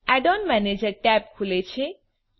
adorn manager tab ખુલે છે